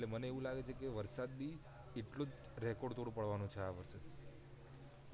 મને એવું લાગે છે કે વરસાદ બી એટલો record તોડ પાડવા નો છે આ વખતે